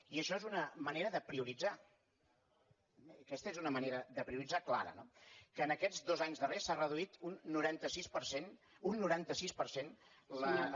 i això és una manera de priorit·zar aquesta és una manera de prioritzar clara no que en aquests dos anys darrers s’ha reduït un noranta sis per cent un noranta sis per cent